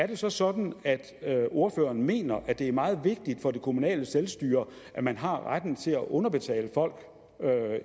det så sådan at ordføreren mener at det er meget vigtigt for det kommunale selvstyre at man har retten til at underbetale folk